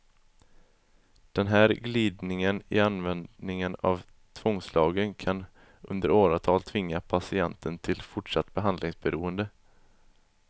Den här glidningen i användningen av tvångslagen kan under åratal tvinga patienten till fortsatt behandlingsberoende.